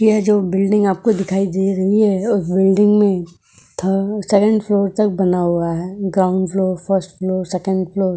यह जो बिल्डिंग आपको दिखाई दे रही है वो बिल्डिंग में थ सेकंड फ्लोर तक बना हुआ है। Ground floor first floor second floor.